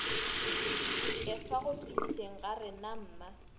dikefa go fihleng ga renamma